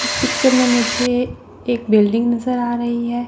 इस पिक्चर में मुझे एक बिल्डिंग नज़र आ रही है।